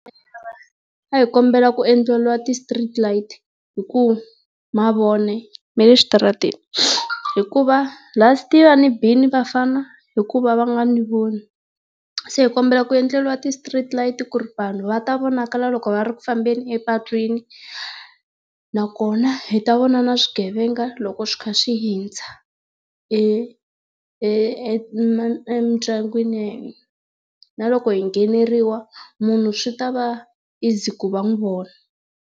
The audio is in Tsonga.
A hi kombela ku endleriwa ti street light hikuva mavoni ya le xitaratini hikuva last year va ni bile vafana hikuva va nga ni voni. Se hi kombela ku endleriwa ti street light ku ri vanhu va ta vonakala loko va ri kufambeni epatwini. Nakona hi ta vona na swigevenga loko swi kha swi hundza e e e emindyangwini ya hina. Na loko hi ngheneriwa, munhu swi ta va easy ku va n'wi vona.